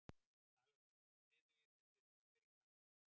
ALEXANDER: Sniðugir þessir ameríkanar.